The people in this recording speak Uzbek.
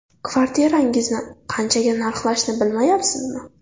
Kvartirangizni qanchaga narxlashni bilmayapsizmi?